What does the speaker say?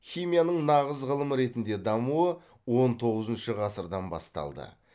химияның нағыз ғылым ретінде дамуы он тоғызыншы ғасырдан басталды